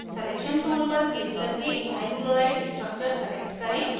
selection tool पर click करके ethyl chloride structure select करें